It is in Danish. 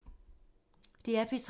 DR P3